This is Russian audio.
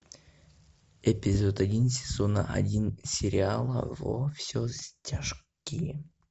эпизод один сезона один сериала во все тяжкие